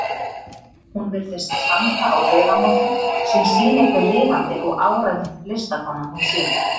Hún virðist standa á vegamótum, sem sýni hve lifandi og áræðin listakona hún sé.